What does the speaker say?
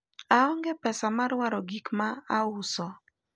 aonge pesa mar waro gikma uso